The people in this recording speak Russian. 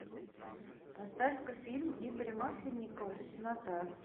поставь ка фильм игоря масленникова теснота